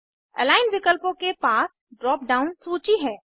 align विकल्पों के पास ड्राप डाउन सूची है